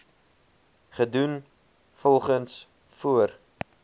gedoen volgens voor